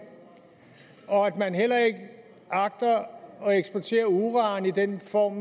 og at man heller ikke agter at eksportere uran i den form